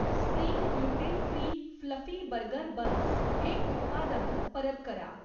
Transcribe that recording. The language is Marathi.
Spring gluten free fluffy burger buns हे उत्पादन परत करा.